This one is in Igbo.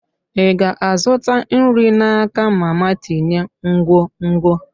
Ị ga-azụta nri n'aka mama tinye nkwonkwo?